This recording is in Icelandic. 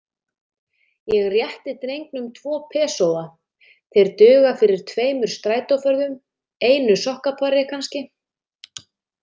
Ég rétti drengnum tvo pesóa, þeir duga fyrir tveimur strætóferðum, einu sokkapari, kannski.